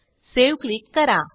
save click करा